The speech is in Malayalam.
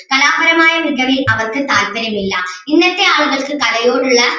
കലാപരമായ മികവിൽ അവർക്ക് താല്പര്യം ഇല്ല ഇന്നത്തെ ആളുകൾക്ക് കലയോടുള്ള